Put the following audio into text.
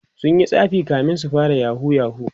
sunyi tsafi kamin su fara yahoo yahoo